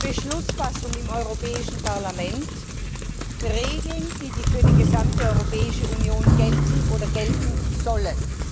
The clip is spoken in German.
Beschlussfassung im Europäischen Parlament Regeln, die für die gesamte Europäische Union gelten oder gelten sollen.